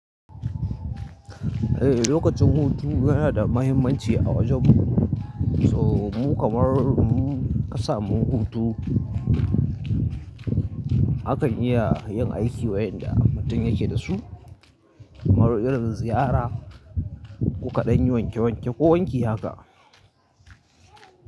Eh lokacin hutu yana da mahimmanci a wajen mu so mu kamar mu ka samu hutu. Haka iya yin aiki wayanda mutum yake da su kamar irin ziyara ko ka ɗanyi wanke wanke ko wanki haka.